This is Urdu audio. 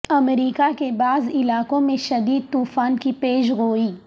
امریکہ کے بعض علاقوں میں شدید طوفان کی پیشگوئی